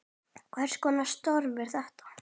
Hvers konar störf eru þetta?